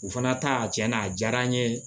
U fana ta cɛnna a diyara n ye